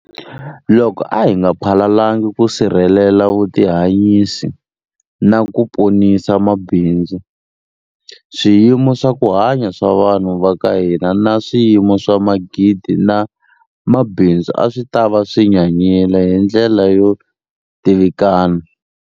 Loko a hi nga phalalangi ku sirhelela vutihanyisi na ku ponisa mabindzu, swiyimo swa ku hanya swa vanhu va ka hina na swiyimo swa magidi ma mabindzu a swi ta va swi nyanyile hi ndlela yo tivikana.